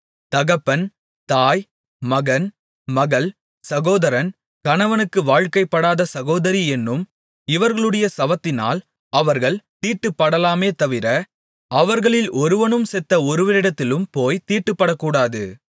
தகப்பன் தாய் மகன் மகள் சகோதரன் கணவனுக்கு வாழ்க்கைப்படாத சகோதரி என்னும் இவர்களுடைய சவத்தினால் அவர்கள் தீட்டுப்படலாமேதவிர அவர்களில் ஒருவனும் செத்த ஒருவனிடத்தில் போய்த் தீட்டுப்படக்கூடாது